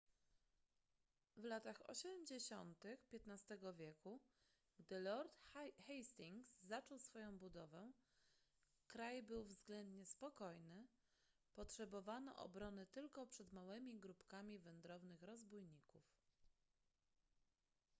w latach osiemdziesiątych xv wieku gdy lord hastings zaczął swoją budowę kraj był względnie spokojny potrzebowano obrony tylko przed małymi grupkami wędrownych rozbójników